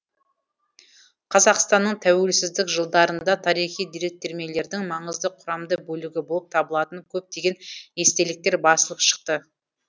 қазақстанның тәуелсіздік жылдарында тарихи деректермелердің маңызды құрамды бөлігі болып табылатын көптеген естеліктер басылып шықты